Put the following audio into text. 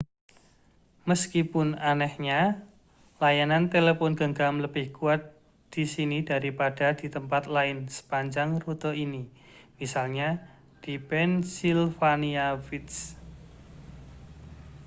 meskipun anehnya layanan telepon genggam lebih kuat di sini daripada di tempat lain sepanjang rute ini misalnya di pennsylvania wilds